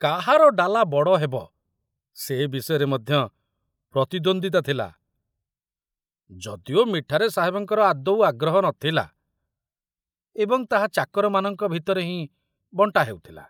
କାହାର ଡାଲା ବଡ଼ ହେବ ସେ ବିଷୟରେ ମଧ୍ୟ ପ୍ରତିଦ୍ୱନ୍ଦିତା ଥିଲା, ଯଦିଓ ମିଠାରେ ସାହେବଙ୍କର ଆଦୌ ଆଗ୍ରହ ନଥିଲା ଏବଂ ତାହା ଚାକରମାନଙ୍କ ଭିତରେ ହିଁ ବଣ୍ଟା ହେଉଥିଲା।